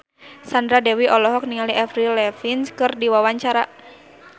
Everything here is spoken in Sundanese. Sandra Dewi olohok ningali Avril Lavigne keur diwawancara